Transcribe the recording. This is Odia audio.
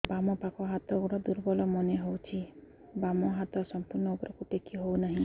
ବାମ ପାଖ ହାତ ଗୋଡ ଦୁର୍ବଳ ମନେ ହଉଛି ବାମ ହାତ ସମ୍ପୂର୍ଣ ଉପରକୁ ଟେକି ହଉ ନାହିଁ